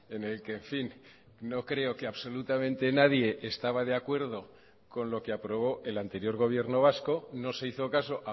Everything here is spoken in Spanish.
en el que en fin no creo que absolutamente nadie estaba de acuerdo con lo que aprobó el anterior gobierno vasco no se hizo caso